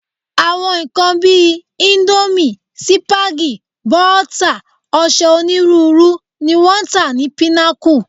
Àwọn nǹkan bí i íńdómì, sípágì, bọ́tà, ọṣẹ onírúurú ni wọ́n ń tà ní Pinnacle.